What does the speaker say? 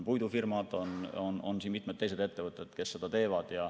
Puidufirmad ja mitmed teised ettevõtted seda teevad.